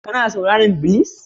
Kana sauraron Blues?